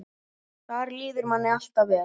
Þar líður manni alltaf vel.